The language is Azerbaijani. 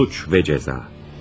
Suç və cəza.